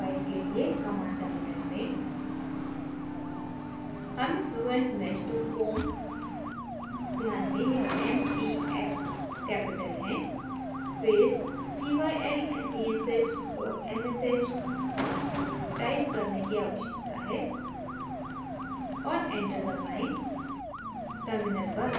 fluent mesh file के लिए command terminal में हमें fluentmeshtofoam ध्यान दें यहाँ m t f capital हैं space cylmesh msh type करने की आवश्यकता है और enter दबाएँ